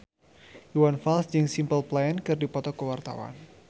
Iwan Fals jeung Simple Plan keur dipoto ku wartawan